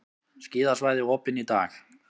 Skíðasvæði opin í dag